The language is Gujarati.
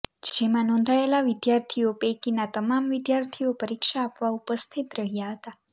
જેમાં નોંધાયેલા વિદ્યાર્થીઓ પૈકીના તમામ વિદ્યાર્થીઓ પરીક્ષા આપવા ઉપસ્થિત રહ્યા હતા